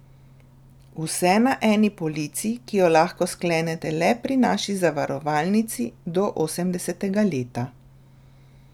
Vse na eni polici, ki jo lahko sklenete le pri naši zavarovalnici, do osemdesetega leta.